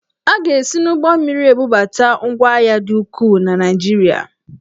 A ga-esi n'ụgbọmmiri ebubata ngwahịa dị ukwuu na Naịjirịa.